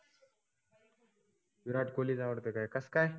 विराट कोल्हीच आवडतय काय. कस काय?